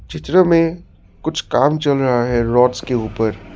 चित्र में कुछ काम चल रहा है रॉड्स के ऊपर।